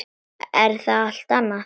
Það er allt annað.